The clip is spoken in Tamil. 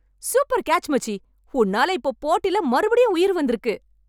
சூப்பர் கேச், மச்சி. உன்னால இப்போ போட்டில மறுபடியும் உயிர் வந்திருக்கு!